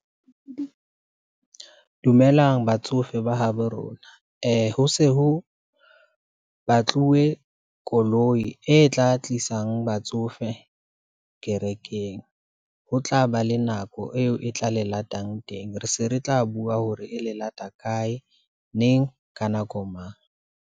Dumelang batsofe ba habo rona, ho se ho batluwe koloi e tla tlisang batsofe kerekeng, ho tla ba le nako eo e tla le latang teng. Re se re tla bua hore e le lata kae, neng, ka nako mang.